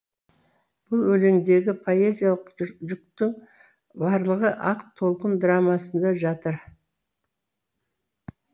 бұл өлеңдегі поэзиялық жүктің барлығы ақ толқын драмасында жатыр